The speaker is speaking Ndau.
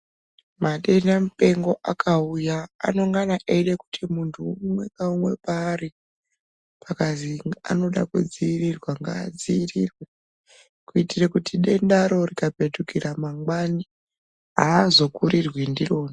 Matenda mupengo akauya anongana eida kuti muntu umwe naumwe paari akazwi anoda kudzivirirwa, ngaadzivirirwe kuitire kuti dendaro rikapetukira mangwani aazokurirwi ndiro.